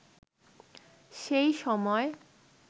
সেই সময়